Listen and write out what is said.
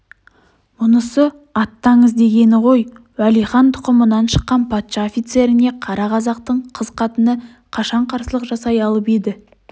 мұнысы аттаңыз дегені ғой уәлихан тұқымынан шыққан патша офицеріне қара қазақтың қыз-қатыны қашан қарсылық жасай алып еді